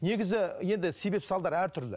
негізі енді себеп салдар әртүрлі